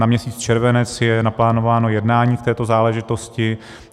Na měsíc červenec je naplánováno jednání v této záležitosti.